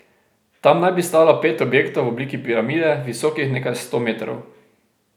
Tam naj bi stalo pet objektov v obliki piramide, visokih nekaj sto metrov.